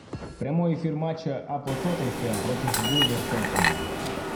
прямой эфир матча апл тоттенхэм против вулверхэмптона